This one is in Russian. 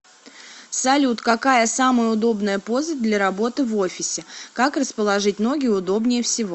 салют какая самая удобная поза для работы в офисе как расположить ноги удобнее всего